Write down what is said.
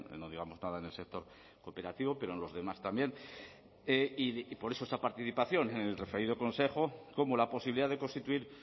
no digamos nada en el sector cooperativo pero en los demás también y por eso esta participación en el referido consejo como la posibilidad de constituir